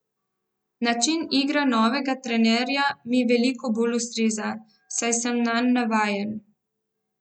Način igre novega trenerja mi veliko bolj ustreza, saj sem nanj navajen.